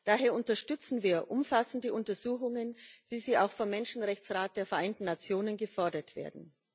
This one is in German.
Daher unterstützen wir umfassende Untersuchungen, wie sie auch vom Menschenrechtsrat der Vereinten Nationen gefordert werden.